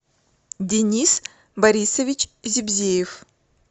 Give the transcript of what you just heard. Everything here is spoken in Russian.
денис борисович зибзеев